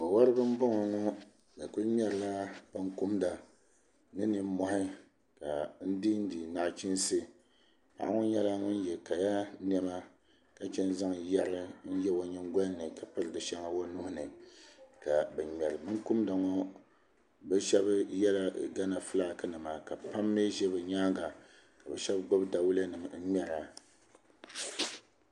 Wo woribi n boŋo ŋo bi ku ŋmɛrila binkumda ni nimmohi ka dindi nachiinsi paɣa ŋo nyɛla ŋun yɛ kaya niɛma ka chɛŋ zaŋ yɛri n yɛ o nyingoli ni ka bin ŋmɛri binkumda ŋo bi shab yɛla gana fulak nima ka bi pam mii ʒɛ bi nyaanga ka shab gbubi dawulɛ nim n ŋmɛra